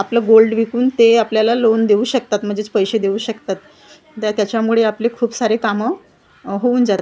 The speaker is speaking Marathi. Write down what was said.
आपलं गोल्ड विकून ते आपल्याला लोन देऊ शकतात म्हणजेच पैसे देऊ शकतात त्या त्याच्यामुळे आपले खूप सारे कामं होऊन जात--